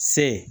Se